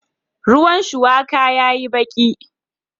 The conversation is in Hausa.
Ruwan shuwakan ya yi baki